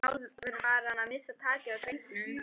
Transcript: Sjálfur var hann að missa takið á drengnum.